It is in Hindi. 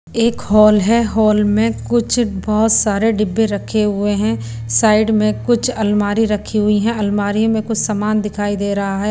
एक हॉल है हॉल में कुछ बहोत सारे डिब्बे रखे हुए हैं साइड में कुछ अलमारी रखी हुई है अलमारी में कुछ समान दिखाई दे रहा है।